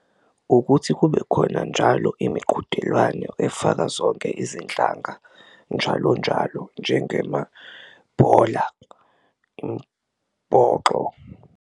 Ukuthi kube khona njalo imiqhudelwano efaka zonke izinhlanga njalonjalo njengemabhola mbhoxo.